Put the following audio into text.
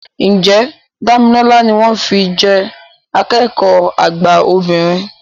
Ǹjẹ́ Dámilọ́lá ni wọ́n fi jẹ́ akẹ́kọ̀ọ́ àgbà obìnrin